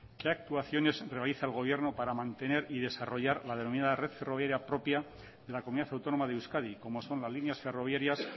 qué actuaciones realiza el gobierno para mantener y desarrollar la denominada red ferroviaria propia de la comunidad autónoma de euskadi como son las líneas ferroviarias